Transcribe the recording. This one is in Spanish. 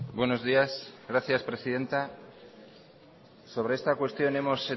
buenos días gracias presidenta sobre esta cuestión hemos